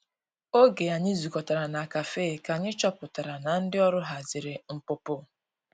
Oge anyi zu kọtara na kafe ka anyi chọpụtara na ndi ọrụ hazịrị npụpụ.